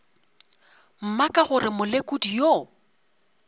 mma ka gore molekodi yo